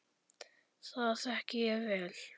Það þekki ég vel!